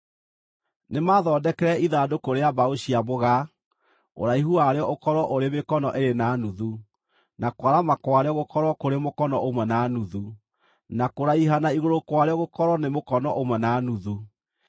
“Nĩmathondekere ithandũkũ rĩa mbaũ cia mũgaa. Ũraihu warĩo ũkorwo ũrĩ mĩkono ĩĩrĩ na nuthu, na kwarama kwarĩo gũkorwo kũrĩ mũkono ũmwe na nuthu, na kũraiha na igũrũ kwarĩo gũkorwo nĩ mũkono ũmwe na nuthu.